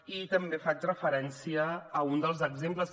i també faig referència a un dels exemples